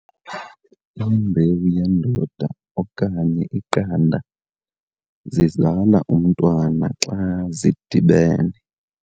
Imbewu yendoda okanye iqanda zizala umntwana xa zidibene.